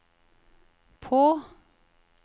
på